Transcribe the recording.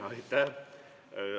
Aitäh!